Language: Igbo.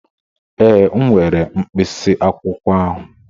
Ee, m were mkpịsị akwụkwọ ahụ.